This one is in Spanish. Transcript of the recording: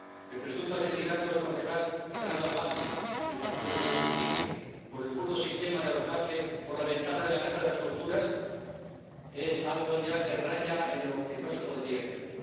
El presunto asesinato del concejal Fernando Albán, del partido Primero Justicia, por el burdo sistema de arrojarle por la ventana de la casa de las torturas, es algo ya que raya en lo que no se podría creer.